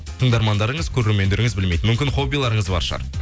тыңдармандарыңыз көрермендеріңіз білмейтін мүмкін хоббиларыңыз бар шығар